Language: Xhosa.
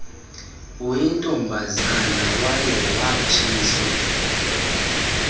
uyintombazana waye watshiswa